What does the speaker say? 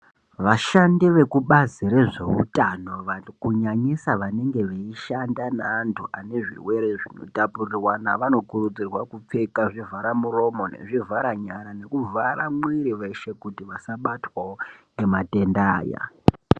Vashandi vekubazi rezveutano kunyanyisa vanenge veishanda neantu ane zvirwere zvinotapurirwana. Vanokurudzirwa kupfeka zvivhara muromo nezvivhara nyara nekuvhara mwiri veshe, kuti vasabatwavo ngematenda aya.